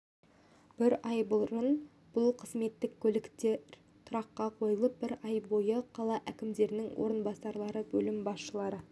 бір ай бұрын бұл қызметтік көліктер тұраққа қойылып бір ай бойы қала әкімінің орынбасарлары бөлім басшылары